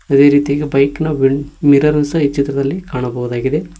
ಅದೇ ರೀತಿ ಬೈಕ್ನ ವಿಂಡ್ ಮಿರರ್ ಸಹ ಈ ಚಿತ್ರದಲ್ಲಿ ಕಾಣಬಹುದಾಗಿದೆ.